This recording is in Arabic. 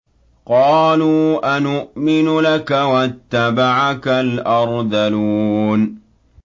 ۞ قَالُوا أَنُؤْمِنُ لَكَ وَاتَّبَعَكَ الْأَرْذَلُونَ